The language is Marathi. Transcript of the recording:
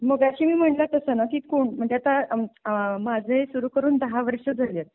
मगाशी मी म्हटलं तसं ना की म्हणजे आता आह माझे सुरू करून दहा वर्ष झाली आहेत.